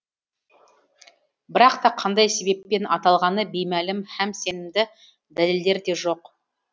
бірақ та қандай себеппен аталғаны беймәлім һәм сенімді дәлелдер де жоқ